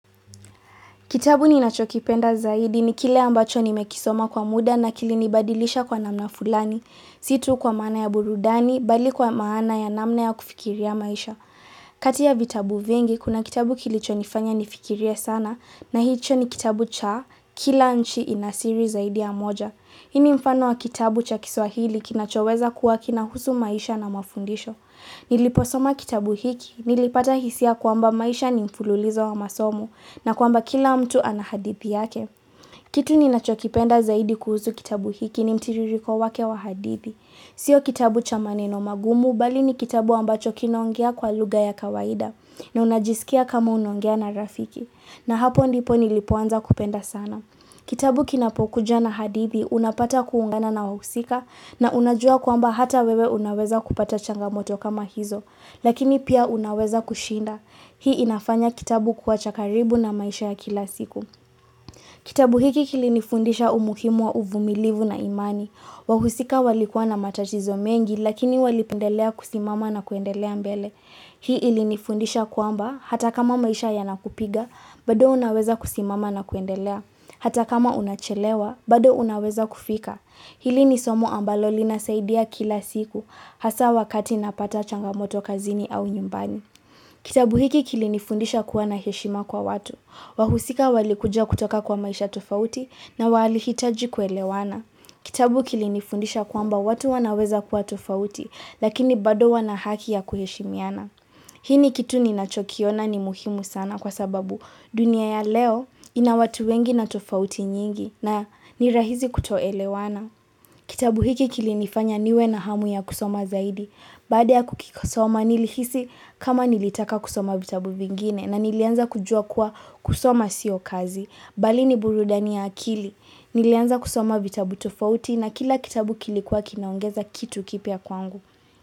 Kitabu ninachokipenda zaidi ni kile ambacho nimekisoma kwa muda na kilinibadilisha kwa namna fulani. Si tu kwa maana ya burudani, bali kwa maana ya namna ya kufikiria maisha. Kati ya vitabu vingi, kuna kitabu kilichonifanya nifikirie sana na hicho ni kitabu cha kila nchi inasiri zaidi ya moja. Hii ni mfano wa kitabu cha kiswahili kinachoweza kuwa kinahusu maisha na mafundisho. Niliposoma kitabu hiki, nilipata hisia kwamba maisha ni mfululizo wa masomo. Na kwamba kila mtu ana hadithi yake. Kitu ninachokipenda zaidi kuhusu kitabu hiki ni mtiririko wake wa hadithi. Sio kitabu cha maneno magumu bali ni kitabu ambacho kinaongea kwa lugha ya kawaida. Na unajisikia kama unaongea na rafiki. Na hapo ndipo nilipoanza kupenda sana. Kitabu kinapokuja na hadithi unapata kuungana na wahusika, na unajua kwamba hata wewe unaweza kupata changamoto kama hizo. Lakini pia unaweza kushinda Hii inafanya kitabu kuwa cha karibu na maisha ya kila siku. Kitabu hiki kilinifundisha umuhimu wa uvumilivu na imani. Wahusika walikua na matatizo mengi lakini walipendelea kusimama na kuendelea mbele. Hii ilinifundisha kwamba hata kama maisha yanakupiga, bado unaweza kusimama na kuendelea. Hata kama unachelewa, bado unaweza kufika. Hili ni somo ambalo linasaidia kila siku, hasa wakati napata changamoto kazini au nyumbani. Kitabu hiki kilinifundisha kuwa na heshima kwa watu. Wahusika walikuja kutoka kwa maisha tofauti, na walihitaji kuelewana. Kitabu kilinifundisha kwamba watu wanaweza kuwa tofauti, lakini bado wana haki ya kuheshimiana. Hii ni kitu ninachokiona ni muhimu sana kwa sababu dunia ya leo, ina watu wengi na tofauti nyingi na ni rahisi kutoelewana. Kitabu hiki kili nifanya niwe na hamu ya kusoma zaidi. Baada ya kukisoma nilihisi kama nilitaka kusoma vitabu vingine na nilianza kujua kuwa kusoma sio kazi. Bali ni burudani ya akili. Nilianza kusoma vitabu tofauti na kila kitabu kilikuwa kinaongeza kitu kipya kwangu.